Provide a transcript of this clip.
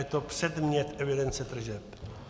Je to předmět evidence tržeb.